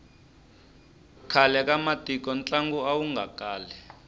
khale ka matiko ntlangu awu nga kali